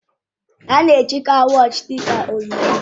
A na-ejikwa wọọchi dị ka onyinye